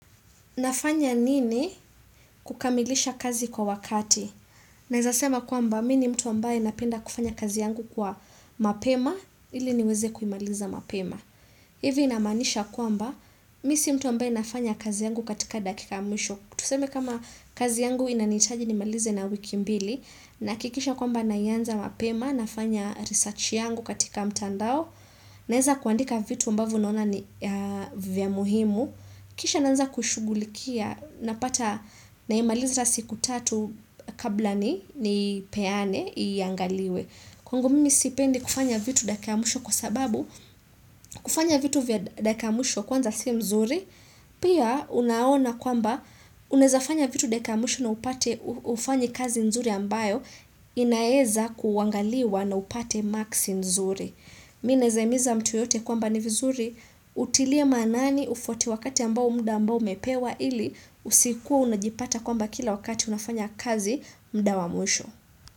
Nafanya nini kukamilisha kazi kwa wakati? Naezasema kwamba, mi ni mtu ambaye napenda kufanya kazi yangu kwa mapema, ili niweze kuimaliza mapema. Ivi namaanisha kwamba, mi si mtu ambaye nafanya kazi yangu katika dakika ya mwisho. Tuseme kama kazi yangu inanitaji ni malize na wiki mbili, nahakikisha kwamba naianza mapema, nafanya research yangu katika mtandao. Naeza kuandika vitu ambavo naona ni vya muhimu. Kisha naanza kushugulikia na pata naimaliza siku tatu kabla ni ni peane iangaliwe. Kwangu mimi sipendi kufanya vitu dakika ya mwisho kwa sababu, kufanya vitu vya dakika ya mwisho kwanza si mzuri, pia unaona kwamba unawezafanya vitu dakika ya mwisho na upate hufanyi kazi mzuri ambayo inaeza kuangaliwa na upate maksi mzuri. Mi naezahimiza mtu yoyote kwamba ni vizuri utilie maanani ufuate wakati ambao mda ambao umepewa ili usikuwa unajipata kwamba kila wakati unafanya kazi mda wa mwisho.